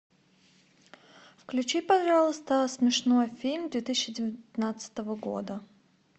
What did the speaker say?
включи пожалуйста смешной фильм две тысячи девятнадцатого года